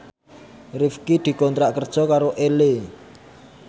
Rifqi dikontrak kerja karo Elle